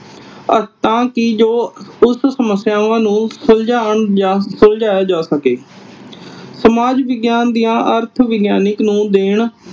ਤਾ ਕਿ ਜੋ ਉਸ ਸਮੱਸਿਆਵਾਂ ਨੂੰ ਸੁਲਝਾਉਣ ਜਾ ਸੁਲਝਾਇਆ ਜਾ ਸਕੇ। ਸਮਾਜ ਵਿਗਿਆਨ ਦੀਆਂ ਅਰਥ ਵਿਗਿਆਨਕ ਨੂੰ ਦੇਣ